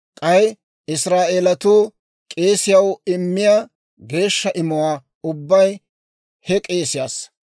K'ay Israa'eelatuu k'eesiyaw immiyaa geeshsha imuwaa ubbay he k'eesiyaassa.